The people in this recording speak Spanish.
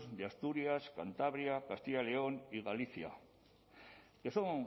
de asturias cantabria castilla y león y galicia que son